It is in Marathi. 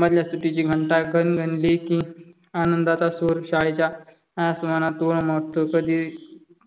मधल्या सुट्टीची घंटा घणघणली की आनंदाचा स्वर शाळेच्या आस्मानात उल्मटतो. कधी